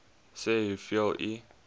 sê hoeveel u